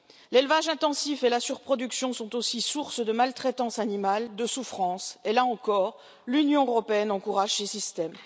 L'élevage intensif et la surproduction sont aussi sources de maltraitance animale, de souffrance et, là encore, l'Union européenne encourage ce système.